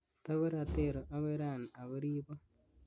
Takoratero akoi rani ako ripo